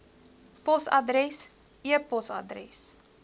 posadres e posadres